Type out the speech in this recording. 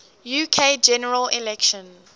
uk general election